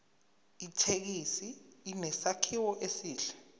ithekisi inesakhiwo esihle